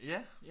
Ja